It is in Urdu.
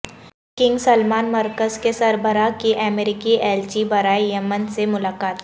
کنگ سلمان مرکز کے سربراہ کی امریکی ایلچی برائے یمن سے ملاقات